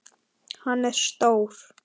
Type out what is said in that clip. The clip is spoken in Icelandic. Hann er stór.